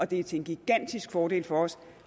det er til en gigantisk fordel for os